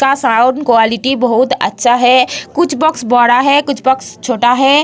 का sound quality बहोत अच्छा है कुछ बॉक्स बड़ा है कुछ बॉक्स छोटा है।